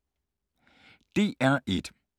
DR1